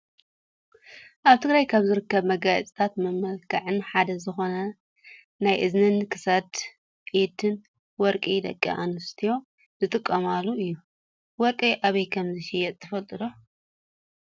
ኣብ ትግራይ ካብ ዝርከቡ መጋየፅታትን መመላክዕን ሓደ ዝኮነ ናይ እዝንን፣ ክሳድ፣ ኢድን ወርቂ ደቂ ኣንስትዮ ዝጥቀማሉ እዩ። ወርቂ ኣበይ ከምዝሽየጥ ትፈልጣ ዶ ?